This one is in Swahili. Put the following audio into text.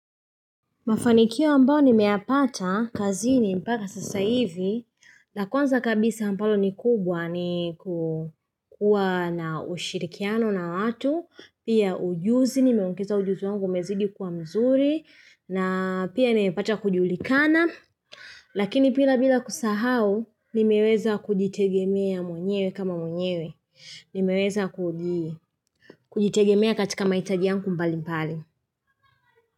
Mafanikio ambao nimeyapata kazini mpaka sasa hivi, na kwanza kabisa ambalo ni kubwa ni kukuwa na ushirikiano na watu, pia ujuzi, nimeongeza ujuzi wangu umezidi kuwa mzuri, na pia nimepata kujulikana. Lakini pia bila kusahau, nimeweza kujitegemea mwenyewe kama mwenyewe, nimeweza kujitegemea katika mahitaji yangu mbali mbali.